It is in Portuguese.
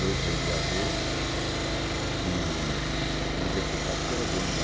Dois vereador e e um deputado, que era dono lá.